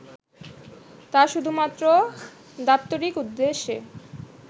তা শুধুমাত্র দাপ্তরিক উদ্দেশ্যে